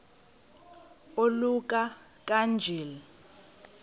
oluka ka njl